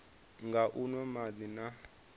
nga u nwa madi na